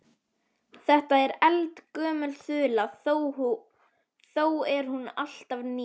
Þetta er eldgömul þula þó er hún alltaf ný.